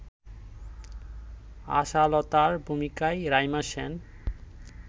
আশালতার ভূমিকায় রাইমা সেন